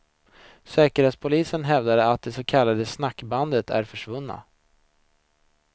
Säkerhetspolisen hävdar att de så kallade snackbanden är försvunna.